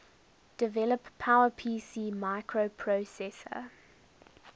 develop powerpc microprocessor